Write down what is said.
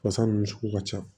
Fasa ninnu sugu ka ca